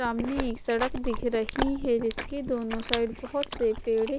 सामने सड़क दिख रही है जिसके दोनों साइड बहोत से पेड़--